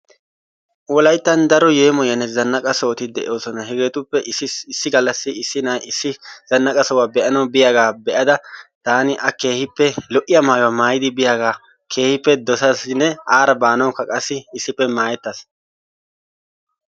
Wolayttan daro yeemoyiyaanne zannaqqa sohotti de'oosonna. Hegeetuppe issi gallassi issi na'ay issi zannaqqa sohuwaa be'anawu biyaagaa taani a keehiippe lo'iya maayuwa maayidi biyaaga keehiippe dosasinne aara baanawukaa qassi issippe mayettaas.